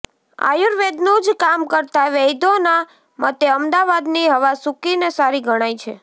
આયુર્વેદનું જ કામ કરતા વૈદ્યોના મતે અમદાવાદની હવા સૂકી ને સારી ગણાય છે